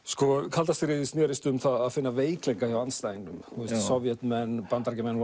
kalda stríðið snérist um það að finna veikleika hjá andstæðingnum Sovétmenn og Bandaríkjamenn